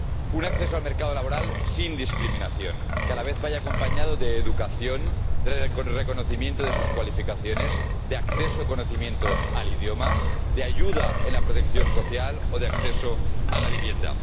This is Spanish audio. Un acceso al mercado laboral sin discriminación, que a la vez vaya acompañado de educación, del reconocimiento de sus cualificaciones, de acceso al idioma, y de su conocimiento, de ayuda en la protección social o de acceso a la vivienda.